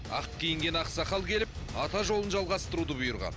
ақ киінген ақсақал келіп ата жолын жалғастыруды бұйырған